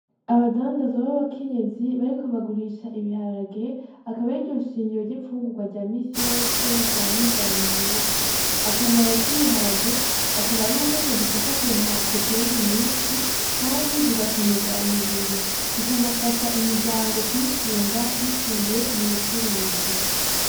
Abadandazoba aba kenyezi bariko bagurisha ibiharage akaba eiryunshingiro ry'imfungurwa rya misi yose rirwanye inzara mu gihugu akamaro ty'ibiharage akaba ari uko kadufasha kuronka proteyini nyinshi, kandi zigakomeza umubiri bikanafasha imiryango kwitunga biciriye mu bucuruzi.